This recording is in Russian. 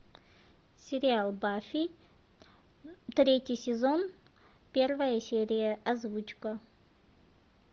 сериал баффи третий сезон первая серия озвучка